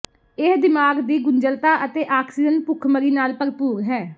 ਇਹ ਦਿਮਾਗ ਦੀ ਗੁੰਝਲਤਾ ਅਤੇ ਆਕਸੀਜਨ ਭੁੱਖਮਰੀ ਨਾਲ ਭਰਪੂਰ ਹੈ